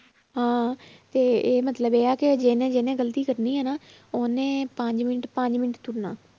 ਹਾਂ ਤੇ ਇਹ ਮਤਲਬ ਇਹ ਆ ਕਿ ਜਿਹਨੇ ਜਿਹਨੇ ਗ਼ਲਤੀ ਕਰਨੀ ਹੈ ਨਾ ਉਹਨੇ ਪੰਜ ਮਿੰਟ ਪੰਜ ਮਿੰਟ ਤੁਰਨਾ